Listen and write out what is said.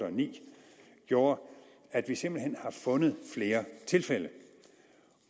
og ni gjorde at vi simpelt hen har fundet flere tilfælde